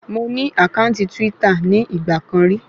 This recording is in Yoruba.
Mo ní àkáǹtì twítà ní ìgbà kan rí